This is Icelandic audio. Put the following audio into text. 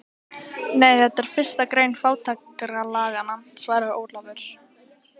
Nei, þetta er fyrsta grein fátækralaganna, svaraði Ólafur.